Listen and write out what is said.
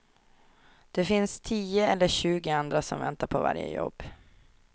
Det finns tio eller tjugo andra som väntar på varje jobb.